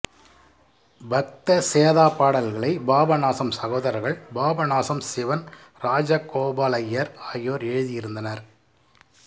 பக்த சேதா பாடல்களை பாபநாசம் சகோதரர்கள் பாபநாசம் சிவன் ராஜகோபாலய்யர் ஆகியோர் எழுதியிருந்தனர்